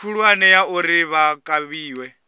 khulwane ya uri vha kavhiwe